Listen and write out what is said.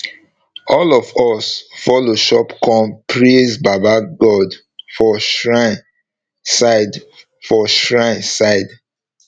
all of us follow chop corn praise baba god for shrine side for shrine side